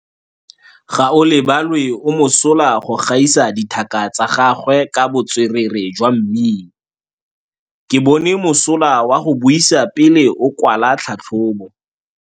Gaolebalwe o mosola go gaisa dithaka tsa gagwe ka botswerere jwa mmino. Ke bone mosola wa go buisa pele o kwala tlhatlhobô.